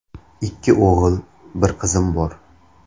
Ikki o‘g‘il, bir qizim bor.